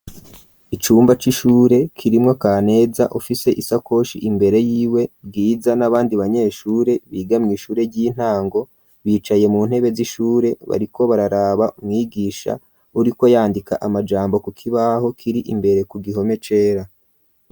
Icumba c'ishure kirimwo Kaneza ufise isakoshi imbere y'iwe Bwiza n'abandi banyeshure biga mw'ishure ry'intango bicaye mu ntebe z'ishure bariko bararaba umwigisha uriko yandika amajambo ku kibaho kiri imbere ku gihome cera.